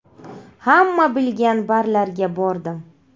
Hamma bilgan barlarga bordim.